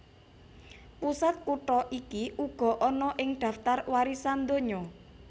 Pusat kutha iki uga ana ing daftar warisan donya